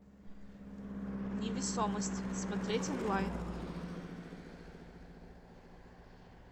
невесомость смотреть онлайн